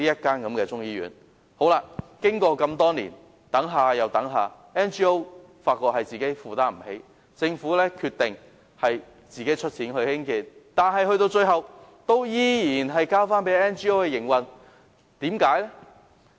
多年已過去，我們等了又等，但 NGO 卻發現負擔不來，因此政府決定自行出資興建，最後仍然是交由 NGO 營運。